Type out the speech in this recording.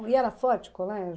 E era forte o colégio?